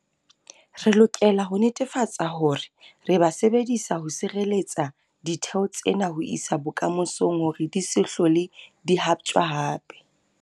Re lokela ho netefatsa hore re ba sebedisa ho sireletsa ditheo tsena ho isa bokamosong hore di se hlole di haptjwa hape.